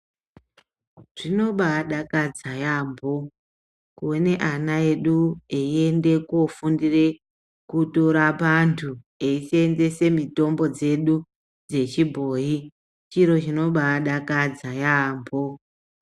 Zvinobaadakadza yaamho kuona ana edu eiende koofundira kutorapa antu eiseenzesa mitombo yedu yechibhoyi. Chiro chinombaadakadza yaamho.